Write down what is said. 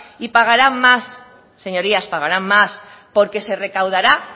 y pagarán más señorías pagarán más porque se recaudará